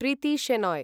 Preeti Shenoy